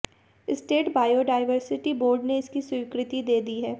state biodiversity board ने इसकी स्वीकृति दे दी है